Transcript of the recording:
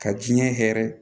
Ka diɲɛ hɛrɛ